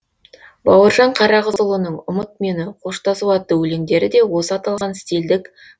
бауыржан қарағызұлының ұмыт мені қоштасу атты өлеңдері де осы аталған стильдік